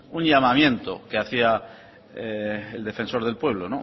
un llamamiento que hacía el defensor del pueblo